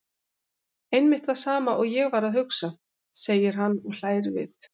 Einmitt það sama og ég var að hugsa, segir hann og hlær við.